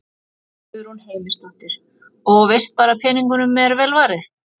Guðrún Heimisdóttir: Og veist bara að peningunum er vel varið?